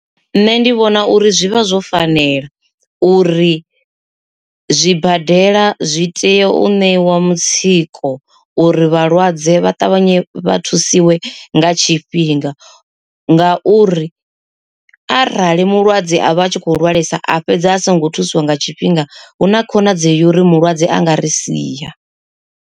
Nṋe ndi vhona uri zwi vha zwo fanela uri zwibadela zwi tea u ṋewa mutsiko uri vhalwadze vha ṱavhanye vha thusiwe nga tshifhinga, nga uri arali mulwadze a vha a tshi kho lwalesa a fhedza a songo thusiwa nga tshifhinga hu na khonadzeo ya uri mulwadze anga ri sia.